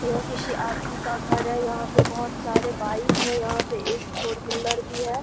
यह किसी आदमी का घर है यहाँ पे बहुत सारे बाइक हैं यहाँ पे एक फोर व्हीलर भी है।